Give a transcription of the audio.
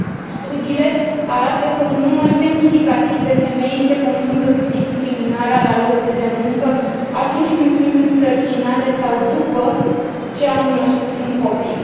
Studiile arată că un număr semnificativ de femei se confruntă cu discriminarea la locul de muncă atunci când sunt însărcinate sau după ce au născut un copil.